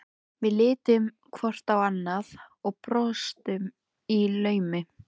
Við litum hvort á annað og brostum í laumi.